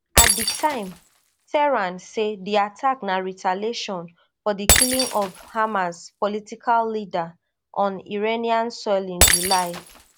at di time tehran say di attack na retaliation for di killing of hamas political leader on iranian soil in july